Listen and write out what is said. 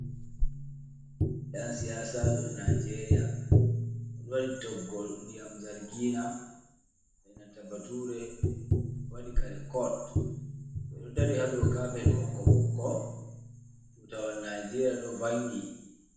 Ɗan siyaasajo Naajeeriya, ɗon toggol ndiyam zargiina, e nanta bature, waɗi kare Cot, ɓeɗo dari haa dow kapet ɓokko - ɓokko, tuutawal Naajeeriya ɗo vangi.